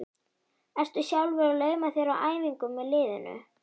Ertu sjálfur að lauma þér á æfingar með liðinu?